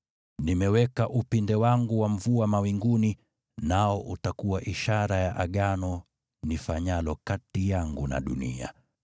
Nimeweka upinde wangu wa mvua mawinguni, nao utakuwa ishara ya Agano nifanyalo kati yangu na dunia.